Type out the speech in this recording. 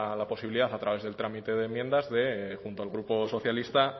la posibilidad a través del trámite de enmiendas de junto al grupo socialista